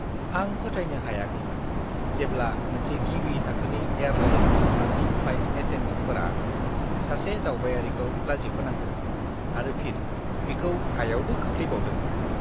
आं फोथायनो हायाखैमोन जेब्ला मोनसे गिबि थाखोनि एयारलाइननि सानै फ्लाइट एटेन्डेन्टफोरा सासे दावबायारिखौ लाजिफोनांदोंमोन आरो फिन बिखौ हायावबो खोख्लैबावदोंमोन!